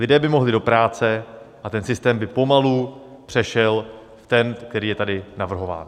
Lidé by mohli do práce a ten systém by pomalu přešel v ten, který je tady navrhován.